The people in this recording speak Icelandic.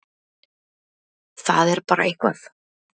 Það er bara eitthvað